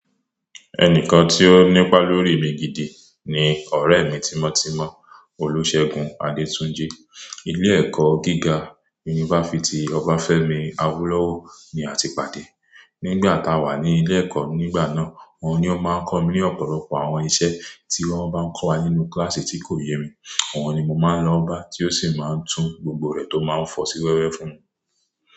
Ẹnìkan tí ó nípa lórí mi gidi ni ọ̀rẹ́ mi tímọ́ tímọ́, Olúṣẹ́gun Adétúnjí. Ilé-ẹ̀kọ́ gíga yunifásítì ọba Fẹ́mi Awólówó ni a ti pàdé. Nígbà tá a wà ní ilé-ẹ̀kọ́ nígbà náà, òun ni ó máa ń kọ́ mi ní ọ̀pọ̀lọpọ̀ àwọn iṣẹ́ tí wọ́n bá ń kọ́ wa nínú kíláàsì tí kò yé mi. Òun ni mo máa ń lọ bá, tí ó sì máa ń tún gbogbo rẹ̀ tó máa ń fọ̀ sí wẹ́wẹ́ fún mi.